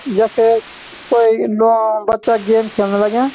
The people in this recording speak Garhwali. यखे कोई नौ बच्चों गेम खेलना लग्यां।